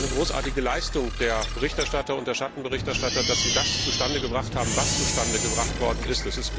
Es ist eine großartige Leistung der Berichterstatter und der Schattenberichterstatter, dass sie das zustande gebracht haben, was zustande gebracht worden ist.